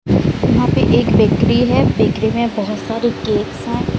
वहाँ पे एक बेकरी हैं बेकरी में बहोत सारे केक्स हैं।